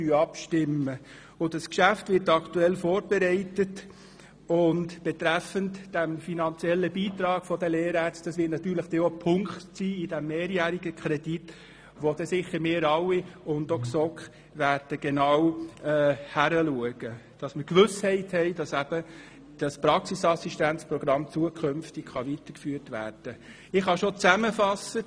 Gegenwärtig wird das Geschäft vorbereitet und der finanzielle Beitrag der Lehrärzte wird dort natürlich auch ein Punkt sein, den sicher wir alle und auch die GSoK genau betrachten werden, damit wir die Gewissheit haben, dass dieses Praxisassistenzmodell zukünftig weitergeführt werden kann.